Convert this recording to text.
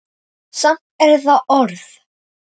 Samt er það orð.